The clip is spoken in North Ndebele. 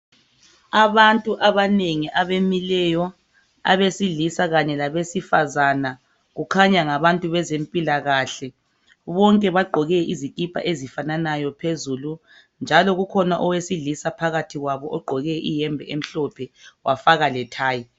Abantu abanengi abamileyo abesilisa kanye labesifazana kukhanya ngabantu bezempilakahle. Bonke bagqoke izikipa ezifananayo phezulu njalo kukhona owesilisa phakathi kwabo ogqoke ihembe emhlophe wafaka lethayi.